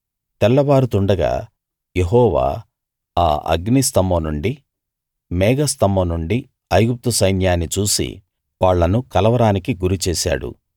తెల్లవారుతుండగా యెహోవా ఆ అగ్ని స్తంభం నుండీ మేఘ స్తంభం నుండీ ఐగుప్తు సైన్యాన్ని చూసి వాళ్ళను కలవరానికి గురి చేశాడు